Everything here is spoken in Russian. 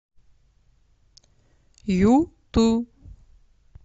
юту